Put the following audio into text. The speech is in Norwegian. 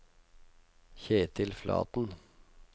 Ketil Flaten